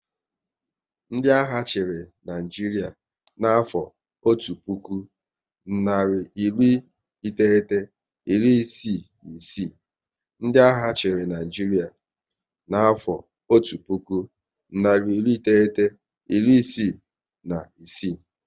Ndị agha chịrị Naịjiria na afo otu puku, nari iri iteghete, iri isii na isii